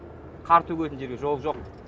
қар төгетін жерде жол жоқ